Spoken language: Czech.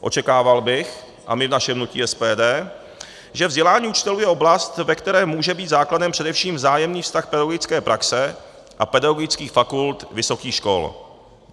Očekával bych, a my v našem hnutí SPD, že vzdělání učitelů je oblast, ve které může být základem především vzájemný vztah pedagogické praxe a pedagogických fakult vysokých škol.